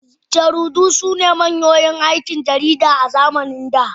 Jaridu sune manyan hanyoyin aikin jarida a zamanin da